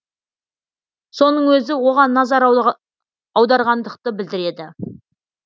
соның өзі оған назар аударғандықты білдіреді